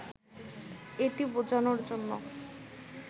এটি বোঝানোর জন্য